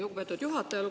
Lugupeetud juhataja!